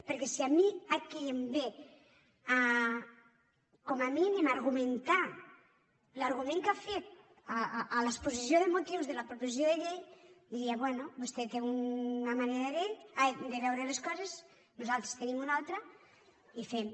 perquè si a mi aquí em ve com a mínim a argumentar l’argument que ha fet a l’exposició de motius de la proposició de llei diria bé vostè té una manera de veure les coses nosaltres en tenim una altra i fem